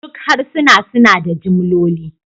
Duk harsuna suna da jimloli